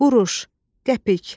Quruş, qəpik.